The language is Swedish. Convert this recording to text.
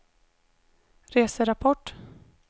reserapport